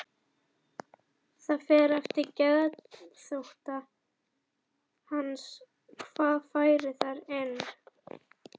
Það fer eftir geðþótta hans hvað fær þar inni.